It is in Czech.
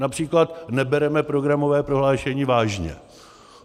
Například - nebereme programové prohlášení vážně.